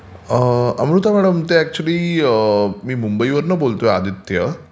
Amruta madam, मी मुंबईवरून बोलतोय आदित्य.